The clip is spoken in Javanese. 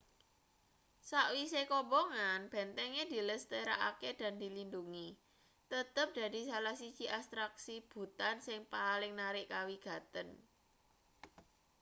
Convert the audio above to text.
sakwise kobongan bentenge dilestarekake lan dilindhungi tetep dadi salah siji atraksi bhutan sing paling narik kawigaten